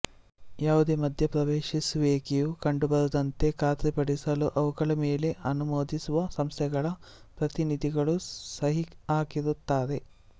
ಯಾವುದೇ ಮಧ್ಯಪ್ರವೇಶಿಸುವಿಕೆಯು ಕಂಡುಬರದಂತೆ ಖಾತ್ರಿಪಡಿಸಲು ಅವುಗಳ ಮೇಲೆ ಅನುಮೋದಿಸುವಸಂಸ್ಥೆಗಳ ಪ್ರತಿನಿಧಿಗಳು ಸಹಿಹಾಕಿರುತ್ತಾರೆ